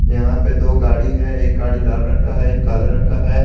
यहां पे दो गाड़ी है एक लाल रंग का है एक काले रंग का है।